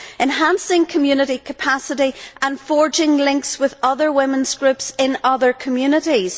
enhancing community capacity and forging links with other women's groups in other communities.